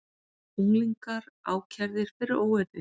Unglingar ákærðir fyrir óeirðir